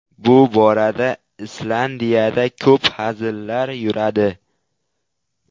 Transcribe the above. Bu borada Islandiyada ko‘p hazillar yuradi.